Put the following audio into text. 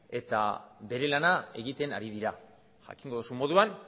eta bere lana egiten ari dira jakingo duzun moduan